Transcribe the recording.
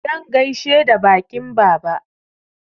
Zan gaishe da baƙin baba.